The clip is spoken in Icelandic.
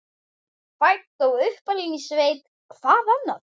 Fædd og uppalin í sveit, hvað annað?